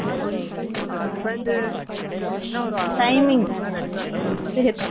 ,அஞ்சு point ? என்ன வரும்? Timing . ஒரு மணி நேரம் extra தரலாம் இல்ல